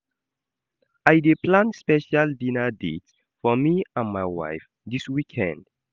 I dey plan special dinner date for me and my wife dis weekend.